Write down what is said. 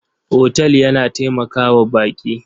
Otal yana taimaka wa baƙi.